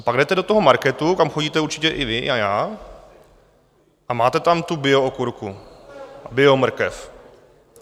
A pak jdete do toho marketu, kam chodíte určitě i vy a já, a máte tam tu bio okurku, bio mrkev.